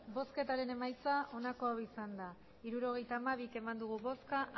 hirurogeita hamabi eman dugu bozka